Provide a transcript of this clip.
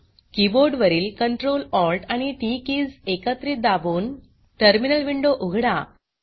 keyboard वरील Ctrl Alt आणि T T keys एकत्रित दाबून टर्मिनल विंडो उघडा